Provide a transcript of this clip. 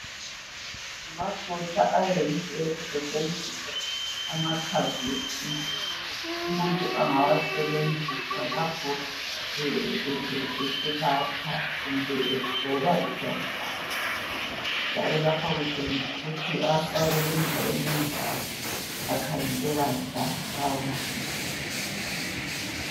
Amafutha ayenziwe kusetshenziswa amakhambi esintu. Umuntu angawasebenzisa lapho eselapha kumbe egcoba ijwabu lakhe , njalo lapha kutshengisa ukuthi afakwe enjani akhangeleka njani lawo mafutha